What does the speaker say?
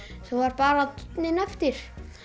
svo var bara dúnninn eftir